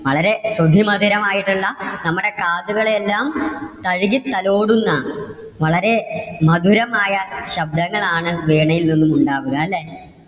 വളരെ അതിമധുരമായിട്ടുള്ള, നമ്മുടെ കാതുകളെ എല്ലാം തഴുകി തലോടുന്ന, വളരെ മധുരമായ ശബ്‍ദങ്ങൾ ആണ് വീണയിൽ നിന്നും ഉണ്ടാവുക അല്ലേ?